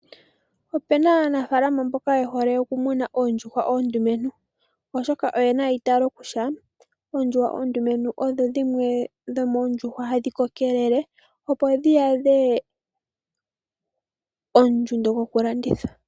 Opena aanafalama mboka ye hole omumuna oondjuhwa oondumentu, oshoka oye na eitalo kutya oondjuhwa oondumentu odho dhimwe dho moondjuhwa hadhi kokelele opo dhi yadhe ondjundo yokulandithwa.